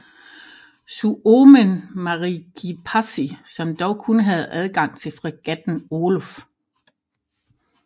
Suomen Meriekipaasi som dog kun havde adgang til fregatten Olof